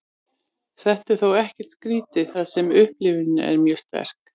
þetta er þó ekkert skrítið þar sem upplifunin er mjög sterk